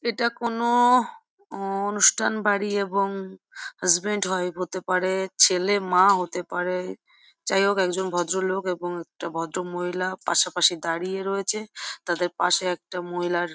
এটা কোনো-ও অনুষ্ঠান বাড়ি এবং হাসব্যান্ড ওয়াইফ হতে পারে | ছেলে মা হতে পারে যাই হোক একজন ভদ্রলোক এবং একটা ভদ্রমহিলা পাশাপাশি দাঁড়িয়ে রয়েছে | তাদের পাশে একটা মহিলার --